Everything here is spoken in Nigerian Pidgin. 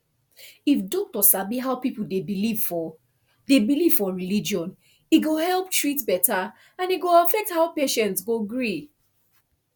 if doctor sabi how people dey believe for dey believe for religion e go help treat better and e go affect how patient go gree